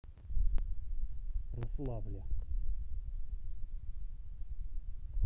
рославле